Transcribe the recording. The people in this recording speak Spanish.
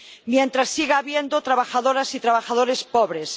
mientras siga habiendo trabajadoras y trabajadores pobres